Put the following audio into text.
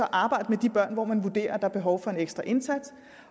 arbejde med de børn hvor man vurderer at er behov for en ekstra indsats